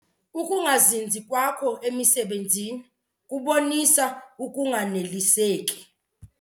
Ukungazinzi kwakho emisebenzini kubonisa ukunganeliseki.